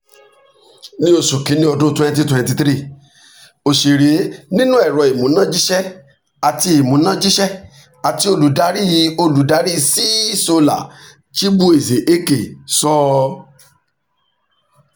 ní oṣù kínní ọdún twenty twenty three òṣèré nínú ẹ̀rọ ìmúnájíṣẹ́ àti ìmúnájíṣẹ́ àti olùdarí olùdarí ceesolar chibueze ekeh sọ